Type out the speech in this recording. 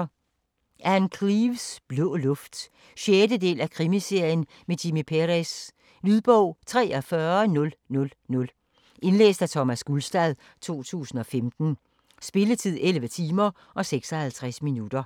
Cleeves, Ann: Blå luft 6. del af Krimiserien med Jimmy Perez. Lydbog 43000 Indlæst af Thomas Gulstad, 2015. Spilletid: 11 timer, 56 minutter.